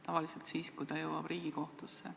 Tavaliselt siis, kui juhtum jõuab Riigikohtusse.